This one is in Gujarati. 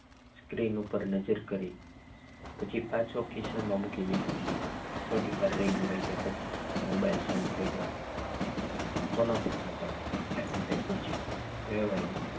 સ્ક્રીન ઉપર નજર કરી પછી પાછો ખિસ્સામાં મોબાઈલ મૂકી દીધો થોડીક વાર રીંગ વાગ્યા પછી મોબાઈલ શાંત થઈ ગયો કોનો ફોન હતો હેમંત એ પૂછ્યું વેવાઈ નો